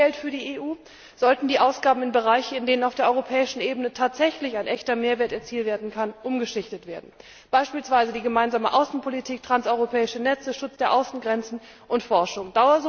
Statt mehr Geld für die EU bereitzustellen, sollten die Ausgaben in Bereiche, in denen auf der europäischen Ebene tatsächlich ein echter Mehrwert erzielt werden kann, umgeschichtet werden, beispielsweise die gemeinsame Außenpolitik, transeuropäische Netze, Schutz der Außengrenzen und Forschung.